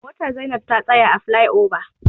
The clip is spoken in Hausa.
Motar Zainab ta tsaya a flai oba.